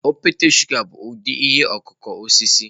Okpete shụga bụ ụdị ihe ọkụkụ osisi.